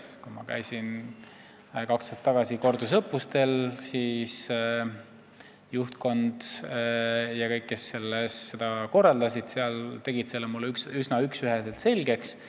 Kui ma käisin kaks aastat tagasi kordusõppustel, siis juhtkond ja kõik, kes seda korraldasid, tegid selle mulle üsna üksüheselt selgeks.